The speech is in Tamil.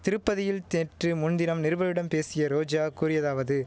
திருப்பதியில் தேற்று முன்தினம் நிருபர்களிடம் பேசிய ரோஜா கூறியதாவது